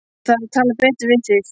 Ég þarf að tala betur við þig.